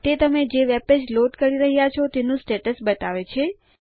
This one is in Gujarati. તે તમે જે વેબપેજ લોડ કરી રહ્યા છો તેનું સ્ટેટ્સ બતાવે છે